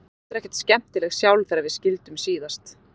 Ég var heldur ekkert skemmtileg sjálf þegar við skildum síðast.